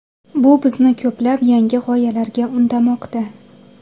Bu bizni ko‘plab yangi g‘oyalarga undamoqda.